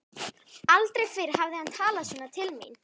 Aldrei fyrr hafði hann talað svona til mín.